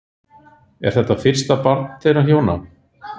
Er þetta fyrsta barn þeirra hjóna